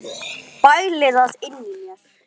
Bæli það inni í mér.